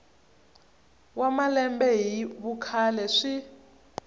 wa malembe hi vukhale swi